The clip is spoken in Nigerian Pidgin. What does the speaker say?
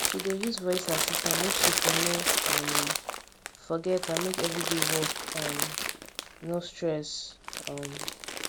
she dey use voice assistant make she for no um forget and make everyday work um no stress um